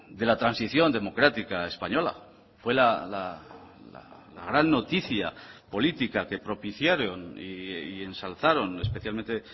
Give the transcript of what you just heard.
de la transición democrática española fue la gran noticia política que propiciaron y ensalzaron especialmente